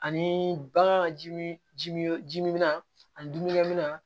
Ani bagan ji min jimi ji min bɛ na ani dumunikɛ minan